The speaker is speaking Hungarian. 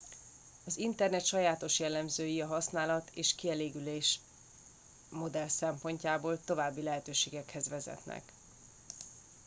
az internet sajátos jellemzői a használat és kielégülés modell szempontjából további lehetőségekhez vezetnek